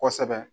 Kosɛbɛ